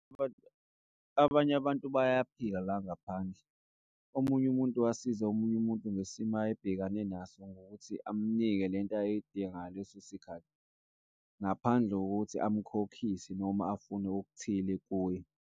Abanye abantu bayaphila la ngaphandle, omunye umuntu wasiza omunye umuntu ngesimo ayebhekane naso ngokuthi amnike lento ayeyidinga ngaleso sikhathi, ngaphandle kokuthi amkhokhise noma afune okuthile kuye.